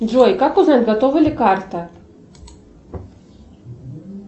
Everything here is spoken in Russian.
джой как узнать готова ли карта